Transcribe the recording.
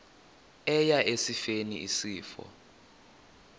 eya esifeni isifo